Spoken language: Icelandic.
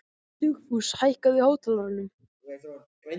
Dugfús, hækkaðu í hátalaranum.